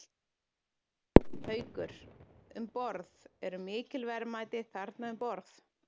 Haukur: Um borð, eru mikil verðmæti þarna um borð?